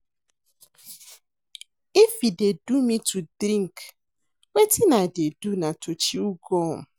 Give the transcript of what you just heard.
If e dey do me to drink wetin I dey do na to chew gum